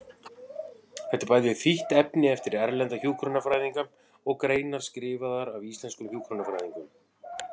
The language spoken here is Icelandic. Þetta er bæði þýtt efni eftir erlenda hjúkrunarfræðinga og greinar skrifaðar af íslenskum hjúkrunarfræðingum.